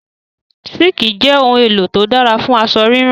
Sííkì jẹ ohun-èlò tó dára fún aṣọ rírán.